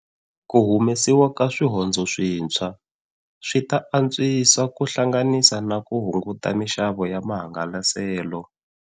Ku humesiwa ka swihondzo swintshwa swi ta antswisa ku hlanganisa na ku hunguta mixavo ya mahangalaselo.